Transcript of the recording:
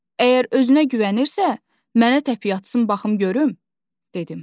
Əgər özünə güvənirsə, mənə təpiy atsın baxım görüm,